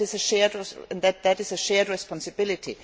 that is a shared responsibility.